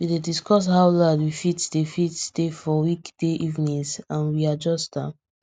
we dey discuss how loud we fit dey fit dey for weekday evenings and we adjust am